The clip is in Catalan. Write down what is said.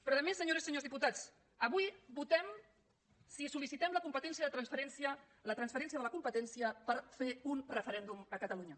però a més senyores i senyors diputats avui votem si sol·licitem la transferència de la competència per fer un referèndum a catalunya